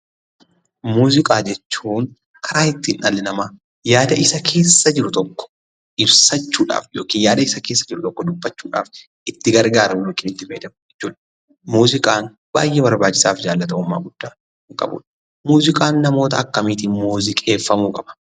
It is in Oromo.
Muuziqaa jechuun karaa ittiin dhalli namaa yaada isa keessa jiru tokko ibsachuudhaaf yookaan yaada isa keessa jiru tokko dubbachuudhaaf itti gargaaramu jechuudha. Muuziqaan baay'ee barbaachisaa fi jaallatamummaa guddaa kan qabudha. Muuziqaan namoota akkamiitiin muuziqeeffamuu qaba?